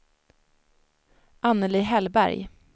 Anneli Hellberg